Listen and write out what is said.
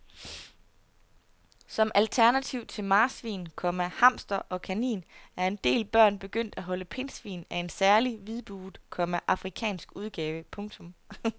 Som alternativ til marsvin, komma hamster og kanin er en del børn begyndt at holde pindsvin af en særlig hvidbuget, komma afrikansk udgave. punktum